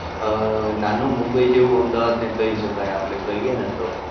અમ નાનું મુંબઈ જેવું અમદાવાદ ને કહી શકાય, આપડે કહીએ ને તો.